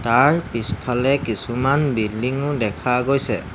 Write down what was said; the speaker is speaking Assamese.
তাৰ পিছফালে কিছুমান বিল্ডিং ও দেখা গৈছে।